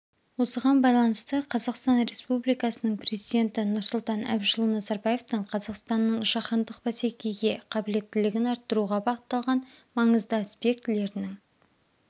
осыған байланысты қазақстан республикасының президенті нұрсұлтан әбішұлы назарбаевтың қазақстанның жаһандық бәсекеге қабілеттілігін арттыруға бағытталған маңызды аспектілерінің